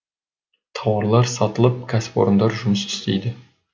тауарлар сатылып кәсіпорындар жұмыс істейді